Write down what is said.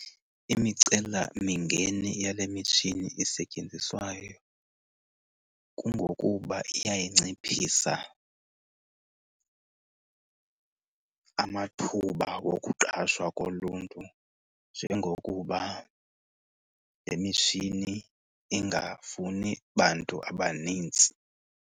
Imicelamingeni yale mitshini isetyenziswayo kungokuba iyayinciphisa amathuba wokuqashwa koluntu, njengokuba le mitshini ingafuni bantu abanintsi.